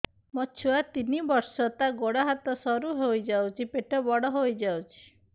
ମୋ ଛୁଆ ତିନି ବର୍ଷ ତାର ଗୋଡ ହାତ ସରୁ ହୋଇଯାଉଛି ପେଟ ବଡ ହୋଇ ଯାଉଛି